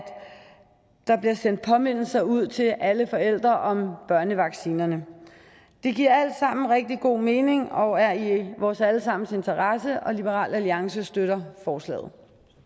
der bliver sendt påmindelser ud til alle forældre om børnevaccinerne det giver alt sammen rigtig god mening og er i vores alle sammens interesse og liberal alliance støtter forslaget